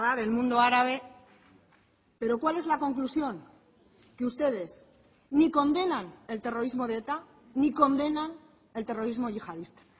del mundo árabe pero cuál es la conclusión que ustedes ni condenan el terrorismo de eta ni condenan el terrorismo yihadista